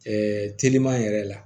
teliman yɛrɛ la